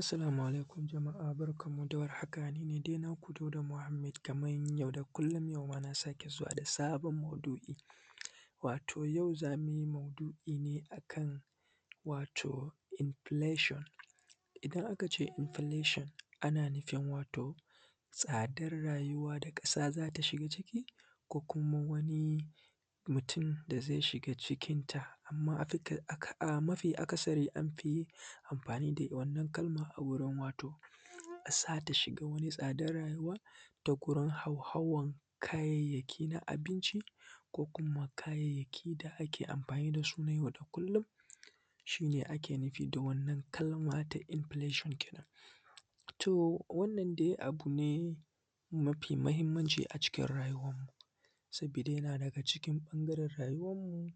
Assalamu alaikum jama'a barkan mu da warhaka, nine dai na ku dauda Muhammed kaman yau da kullum yau ma na sake zuwa da sabon maudu'i wato yau za mu yi maudu'i ne a kan wato inflation. Idan aka ce inflation ana nufin wato tsadar rayuwa da ƙasa za ta shiga ciki ko kuma wani mutum da zai shiga cikinta amma mafi akasari an fi amfani da wannan kalma wato ƙasa ta shiga wani tsadan rayuwa, da gurin hauhawan kayayyaki na abinci ko kuma kayayyaki da ake amfani da su na yau da kullum, shi ne ake nufi da wannan kalma ta inflation. Kenan to wannan dai abu ne mafi mahimmanci a cikin rayuwan mu sabida yana daga cikin ɓangaren rayuwan mu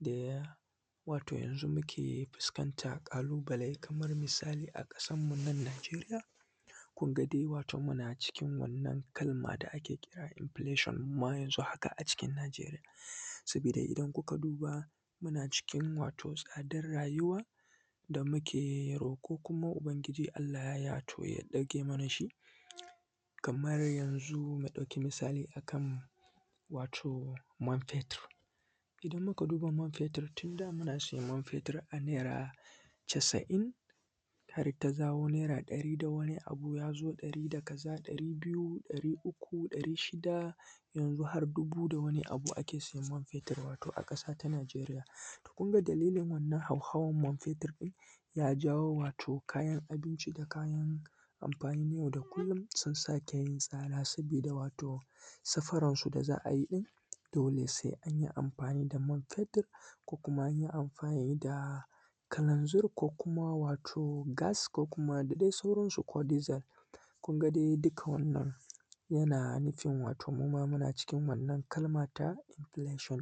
da ya wato yanzu muke fuskanta ƙalubale kaman misali a ƙasarmu nan Najeriya kun ga dai wato muna cikin wannan kalma da ake kira inflation a yanzu haka a Najeriya. Sabida idan ku ka duba muna cikin wato tsadar rayuwa da muke roƙo kuma ubangiji Allah ya ɗauke mana shi. Kaman yanzu mu ɗauki misali a kan wato man fetir, idan muka duba man fetir tun da muna siyan man fetir a naira casa'in har ta dawo naira ɗari da wani abu ya zo ɗari da kaza ɗari biyu, ɗari uku, ɗari shida, yanxu har dubu da wani abu ake siyan man fetir. Wato a ƙasa ta Najeriya to kun ga dalilin wannan hauhawan man fetir ɗin ya jawo wato kayan abinci da kayan amfanin yau da kullum sun sake yin tsada, sabida wato safaran su da za a yi ɗin dole sai an yi amfani da man fetir, ko kuma yi amfani da kalanzir, ko kuma wato gas, ko kuma dai da dai sauran su ko dizal kun ga dai duka wannan yana nufin muma muna cikin wannan kalman ta inflation.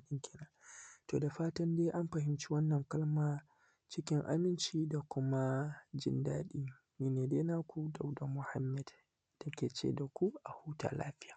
To da fatan dai an fahimci wannan kalma cikin aminci da kuma jindadi ni ne dai na ku dauda Muhammed na ke ce da ku a huta lafiya.